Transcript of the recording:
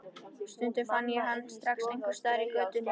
Stundum fann ég hann strax einhvers staðar í götunni.